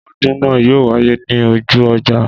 Ọdún náà yóò wáyé ní ojú ọjà